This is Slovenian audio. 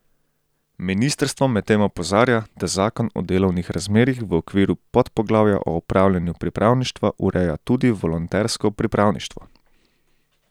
Ministrstvo medtem opozarja, da zakon o delovnih razmerjih v okviru podpoglavja o opravljanju pripravništva ureja tudi volontersko pripravništvo.